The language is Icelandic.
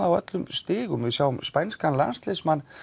á öllum stigum við sjáum spænskan landsliðsmann